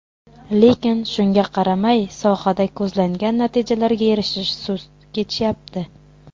Lekin shunga qaramay, sohada ko‘zlangan natijalarga erishish sust kechyapti.